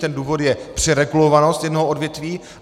Ten důvod je přeregulovanost jednoho odvětví.